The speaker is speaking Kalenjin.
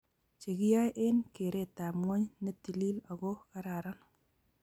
chegiyoe eng keretab ngwony netilil ago gararan